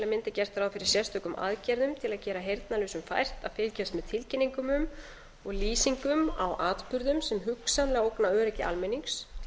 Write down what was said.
gert ráð fyrir sérstökum aðgerðum til að gera heyrnarlausum fært að fylgjast með tilkynningum um og lýsingum á atburðum sem hugsanlega ógna öryggi almennings